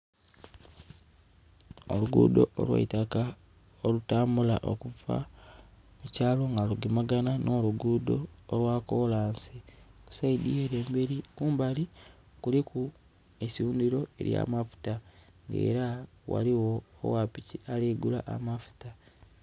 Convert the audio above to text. Oluguudo olw'eitaka olutambula okuva mukyalo nga lugemagana n'oluguudo olwa kolansi. Ku saidi ere emberi kumbali kuliku eisundhiro ely'amafuta. Era ghaligho ogha piki ali gula amafuta.